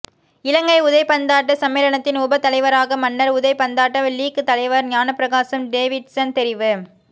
இலங்கை உதைபந்தாட்ட சம்மேளனத்தின் உப தலைவராக மன்னார் உதைபந்தாட்ட லீக் தலைவர் ஞானப்பிரகாசம் டேவிட்சன் தெரிவு